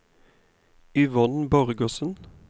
Yvonne Borgersen